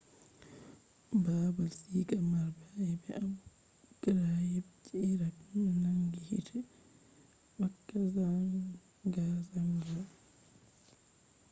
baabal siga marɓe ayebe abu ghraib je iraq nangi hite wakka zangazanga